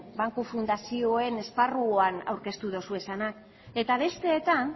banku fundazioen esparruan aurkeztu dituzuenak eta besteetan